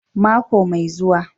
Mako mai zuwa